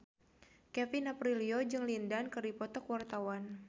Kevin Aprilio jeung Lin Dan keur dipoto ku wartawan